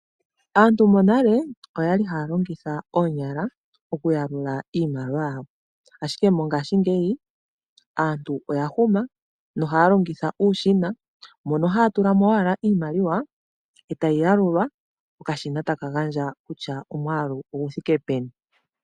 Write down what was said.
Aantu monale oya li haya longitha oonyala okuyalula iimaliwa yawo, ashike mongaashingeyi aantu oya huma na oha ya longitha uushina mono haya tulamo owala iimaliwa eta yi yalulwa, okashina ta kagandja kutya omwaalu ogu thike peni.